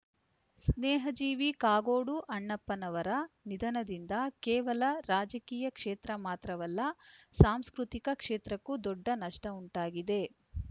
ಸ್ನೇಹಜೀವಿ ಕಾಗೋಡು ಅಣ್ಣಪ್ಪನವರ ನಿಧನದಿಂದ ಕೇವಲ ರಾಜಕೀಯ ಕ್ಷೇತ್ರ ಮಾತ್ರವಲ್ಲ ಸಾಂಸ್ಕೃತಿಕ ಕ್ಷೇತ್ರಕ್ಕೂ ದೊಡ್ಡ ನಷ್ಟಉಂಟಾಗಿದೆ